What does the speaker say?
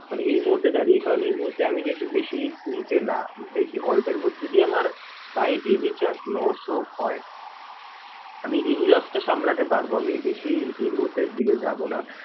মানে এই মূহুর্তে দাড়িয়ে কারণ এই মূহুর্তে আমি চাইছি বেশি risk নিতে না। বেশি অল্পের মধ্যে দিয়েই আমার by any chance loss ও হয় আমি এই loss টা সামলাতে পারবো। আমি বেশি এই মূহুর্তে এই দিকে যাবো না।